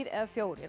eða fjóra